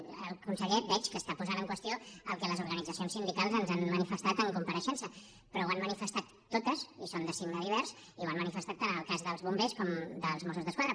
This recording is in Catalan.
el conseller veig que està posant en qüestió el que les organitzacions sindicals ens han manifestat en compareixença però ho han manifestat totes i són de signe divers i ho han manifestat tant en el cas dels bombers com dels mossos d’esquadra